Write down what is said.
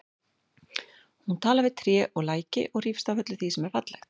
Hún talar við tré og læki og hrífst af öllu því sem er fallegt.